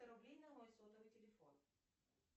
сто рублей на мой сотовый телефон